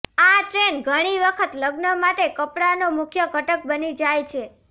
આ ટ્રેન ઘણી વખત લગ્ન માટે કપડાંનો મુખ્ય ઘટક બની જાય છે